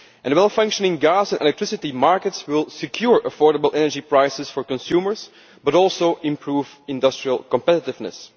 Well functioning gas and electricity markets will secure affordable energy prices for consumers, as well as improving industrial competitiveness.